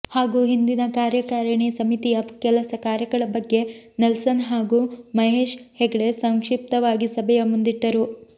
ಹಾಗು ಹಿಂದಿನ ಕಾರ್ಯಕಾರಿಣಿ ಸಮಿತಿಯ ಕೆಲಸ ಕಾರ್ಯಗಳ ಬಗ್ಗೆ ನೆಲ್ಸನ್ ಹಾಗು ಮಹೇಶ್ ಹೆಗ್ಡೆ ಸಂಕ್ಷಿಪ್ತವಾಗಿ ಸಭೆಯ ಮುಂದಿಟ್ಟರು